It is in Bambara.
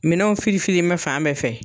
Minɛnanw fili fili in bɛ fan bɛɛ fɛ